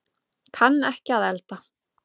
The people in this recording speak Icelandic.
Kann ekki að elda